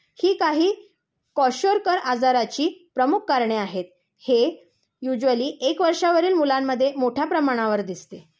ही काही क्वाशोरकर आजाराची प्रमुख कारणे आहेत. हे युजुयली एक वर्षावरील मुलांमध्ये मोठ्या प्रमाणावर दिसते.